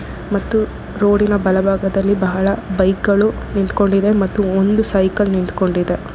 ಮತ್ತು ರೋಡಿ ನ ಬಲಭಾಗದಲ್ಲಿ ಬಹಳ ಬೈಕ್ ಗಳು ನಿಂತ್ಕೊಂಡಿದೆ ಮತ್ತು ಒಂದು ಸೈಕಲ್ ನಿಂತುಕೊಂಡಿದೆ.